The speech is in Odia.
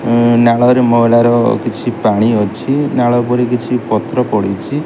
ନାଳରେ ମଇଳାର କିଛି ପାଣି ଅଛି ନାଳ ଉପରେ କିଛି ପତ୍ର ପଡିଛି।